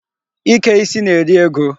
Ike isi na-eri ego.